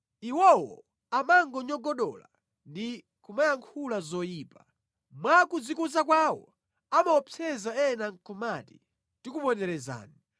Iwowo amanyogodola ndi kumayankhula zoyipa; mwa kudzikuza kwawo amaopseza ena nʼkumati, “Tikuponderezani.”